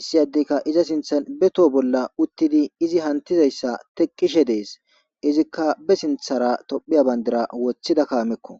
issi addikka iza sintha beto bolla uttidi izi hantizayssa teqqishe dees izikka be sinthara tophiya bayndira wothida kaamekko